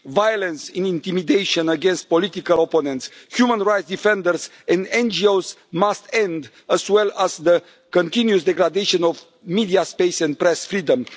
Violence and intimidation against political opponents, human rights defenders and NGOs must end, as well as the continued degradation of media space and press freedom.